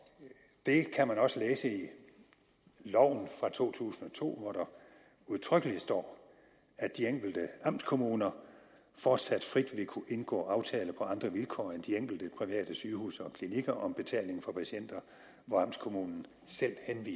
det kan man også læse i loven fra to tusind og to hvor der udtrykkeligt står at de enkelte amtskommuner fortsat frit vil kunne indgå aftaler på andre vilkår end de enkelte private sygehuse og klinikker om betaling for patienter hvor amtskommunen selv